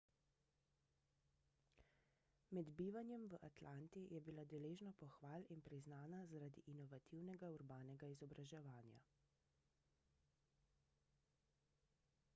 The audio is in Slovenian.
med bivanjem v atlanti je bila deležna pohval in priznana zaradi inovativnega urbanega izobraževanja